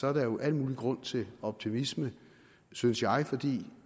er der jo al mulig grund til optimisme synes jeg fordi